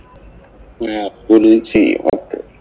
ചെയ്യും. ആ ഒറപ്പ്.